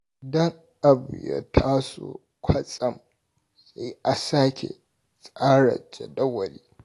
Idan abu ya taso kwatsam sai a sake tsara jadawali.